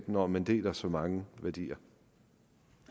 når man deler så mange værdier